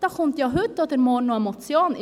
Dazu kommt heute oder morgen noch eine Motion.